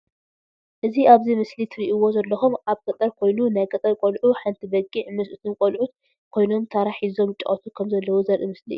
እ ዚ ኣብ እዚ ምስሊ ትርእዎ ዘለኩም ኣብ ገጠር ኮይኑ ናይ ገጠር ቆሉዑ ሓንቲ በግዕ ምስ እቶም ቆሉዖት ኮይኖም ታራ ሕዞም ይጫወቱ ከም ዘለው ዘርእ ምስሊ እዩ።